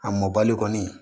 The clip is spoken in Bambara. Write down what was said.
A mɔbali kɔni